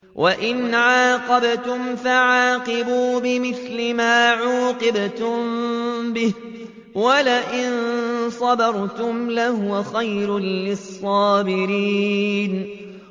وَإِنْ عَاقَبْتُمْ فَعَاقِبُوا بِمِثْلِ مَا عُوقِبْتُم بِهِ ۖ وَلَئِن صَبَرْتُمْ لَهُوَ خَيْرٌ لِّلصَّابِرِينَ